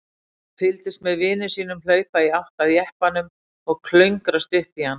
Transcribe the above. Hann fylgdist með vini sínum hlaupa í átt að jeppanum og klöngrast upp í hann.